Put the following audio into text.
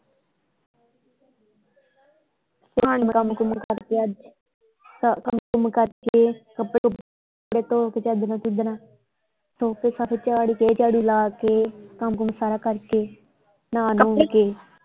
ਕੰਮ ਕੁੱਮ ਕਰਦੇ ਆ ਅੱਜ ਕੰਮ ਕੁੱਮ ਕਰਕੇ ਕੱਪੜੇ ਕੁਪੜੇ ਧੋ ਕੇ ਚਾਦਰਾਂ ਚੁਦਰਾਂ ਧੋ ਕੇ ਸੋਫ਼ੇ ਸਾਫ਼ੇ ਝਾੜ ਕੇ ਝਾੜੂ ਲਾ ਕੇ ਕੰਮ ਕੁੱਮ ਸਾਰ ਕਰਕੇ ਨਹਾ ਨਹੁ ਕੇ।